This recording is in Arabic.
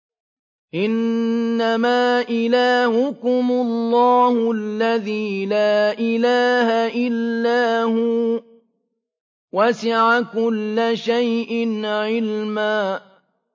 إِنَّمَا إِلَٰهُكُمُ اللَّهُ الَّذِي لَا إِلَٰهَ إِلَّا هُوَ ۚ وَسِعَ كُلَّ شَيْءٍ عِلْمًا